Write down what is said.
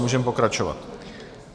Můžeme pokračovat.